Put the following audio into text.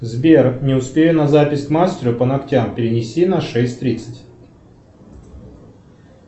сбер не успею на запись к мастеру по ногтям перенеси на шесть тридцать